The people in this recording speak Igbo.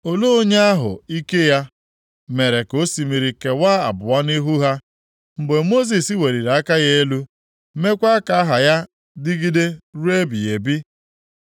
Olee onye ahụ ike ya mere ka osimiri kewaa abụọ nʼihu ha, mgbe Mosis weliri aka ya elu, meekwa ka aha ya dịgide ruo ebighị ebi?